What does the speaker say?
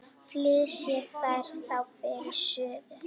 Flysjið þær þá fyrir suðu.